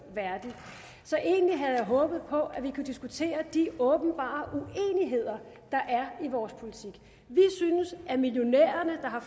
værdig så egentlig havde jeg håbet på at vi kunne diskutere de åbenbare uenigheder der er i vores politik vi synes at millionærerne der har